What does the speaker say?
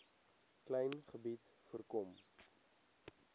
klein gebied voorkom